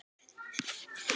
Tíminn getur skipt sköpum.